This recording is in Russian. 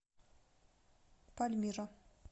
пальмира